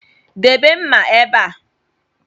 Debe mma ebe a